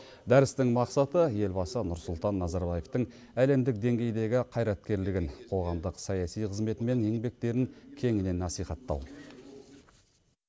дәрістің мақсаты елбасы нұрсұлтан назарбаевтың әлемдік деңгейдегі қайраткерлігін қоғамдық саяси қызметі мен еңбектерін кеңінен насихаттау